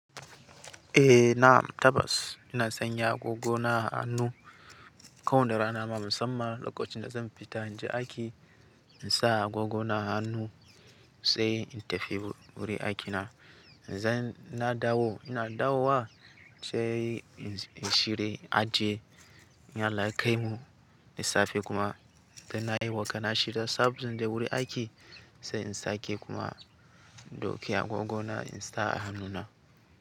Eh na'am tabbas ina sanya agogo na a hannu kawai da rana ma musamman lokacin da zan fita na je aiki in sa agogo na a hannu sai in tafi wurin aikina. Na dawo ina dawo wa sai in shirya aje in Allah ya kaimu da safe kuma dan na yi wa kaina shida saboda wuri aiki sai in sake kuma in dauki agogo na in sa a hannu na.